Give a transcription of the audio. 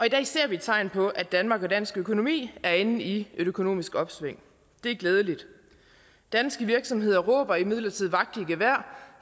i dag ser vi tegn på at danmark og dansk økonomi er inde i et økonomisk opsving det er glædeligt danske virksomheder råber imidlertid vagt i gevær